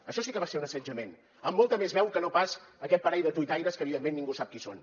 això sí que va ser un assetjament amb molta més veu que no pas aquest parell de tuitaires que evidentment ningú sap qui són